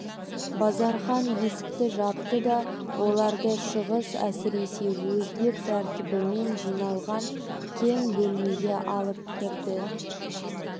базархан есікті жапты да оларды шығыс әсіресе өзбек тәртібімен жиналған кең бөлмеге алып кірді